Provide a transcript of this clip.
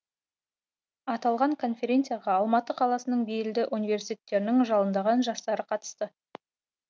аталған конференцияға алматы қаласының белді университеттерінің жалындаған жастары қатысты